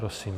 Prosím.